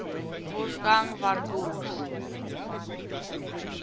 wolfgang von goethe